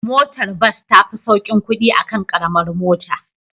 Motar bus tafi saukin kudi akan Karamar mota